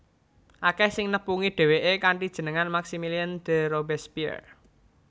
Akèh sing nepungi dhéwéké kanthi jeneng Maximilien de Robespierre